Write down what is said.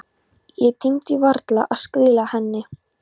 Ég tímdi varla að skila henni.